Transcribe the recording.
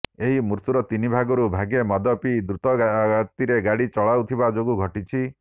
ଏହି ମୃତ୍ୟୁର ତିନି ଭାଗରୁ ଭାଗେ ମଦ ପିଇ ଦ୍ରୁତ ଗତିରେ ଗାଡ଼ି ଚଳାଉଥିବା ଯୋଗୁଁ ଘଟିଛି